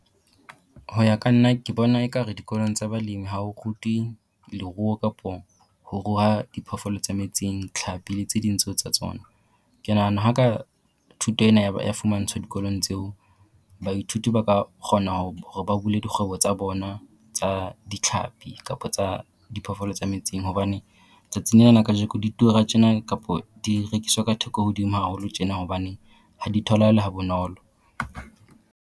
Ho ya ka nna, ke bona ekare dikolong tsa balemi ha ho rutwe leruo kapo ho ruha diphoofolo tsa metsing, tlhapi le tse ding tseo tsa tsona. Ke nahana ha ka thuto ena ya ya fumantshwa dikolong tseo baithuti ba ka kgona hore ba bule dikgwebo tsa bona tsa ditlhapi kapa tsa diphoofolo tsa metsing. Hobane tsatsing lena la kajeko di tura tjena, kapo di rekiswa ka theko hodimo haholo tjena, hobane ha di tholahale ha bonolo.